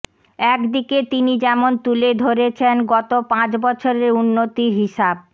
একদিকে তিনি যেমন তুলে ধরেছনে গত পাঁচ বছরের উন্নতির হিসাব